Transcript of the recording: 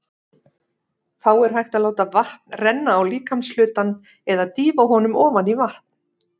Þá er hægt að láta vatn renna á líkamshlutann eða dýfa honum ofan í vatn.